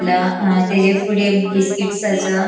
ला अ तेजे फुड़े बिस्किट्स असा.